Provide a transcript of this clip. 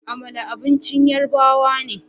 Amala abincin Yarbawa ne